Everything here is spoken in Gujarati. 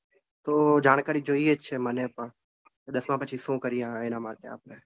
તો જાણકારી જોઇએ જ છે મને પણ દસમા પછી શું કરીએ આપણે એના માટે આપણે.